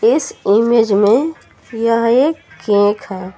इस इमेज में यह एक केक है।